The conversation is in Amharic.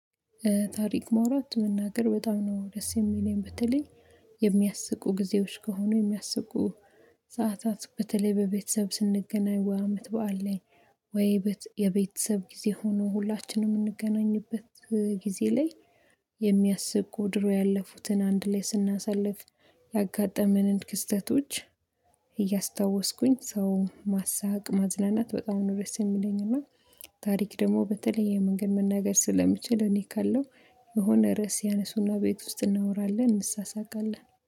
ታሪክ መውራት መናገር በጣም ነው ደስ የሚለኝ በተለይ የሚያስቁ ጊዜዎች ከሆኑ የሚያስቁ ሰዓታት በተለይ በቤተሰብ ስንገናኝ ወይ አመት በዓል ላይ ወይ የቤተሰብ ጊዜ ሆኖ ሁላችንም የምንገናኝበት ጊዜ ላይ የሚያስቁ ድሮ ያለፉትን አንድ ላይ ስናሳልፍ ያጋጠመንን ክስተቶች እያስታወስኩኝ ሰው ማሳቅ ማዝናናት በጣም ነው ደስ የሚለኝ እና ታሪክ ደግሞ በተለይ የመንገር መናገር ስለምችል እኔ ካለሁ የሆነ ርዕስ ያነሱና ቤት ውስጥ እናወራለን እንሳሳቃለን